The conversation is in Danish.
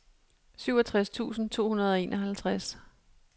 syvogtres tusind to hundrede og enoghalvtreds